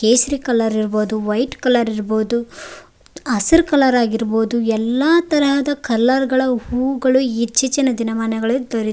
ಕೇಸರಿ ಕಲರ್ ಇರ್ಬಹುದು white colour ಇರ್ಬಹುದು ಹಸ್ರು ಕಲರ್ ಆಗಿರ್ಬಹುದು ಎಲ್ಲಾ ತರಹದ ಕಲರ್ ಗಳ ಹೂಗಳು ಇತ್ತೀಚಿನ ದಿನಮಾನಗಳಲ್ಲಿ ದೊರೆ--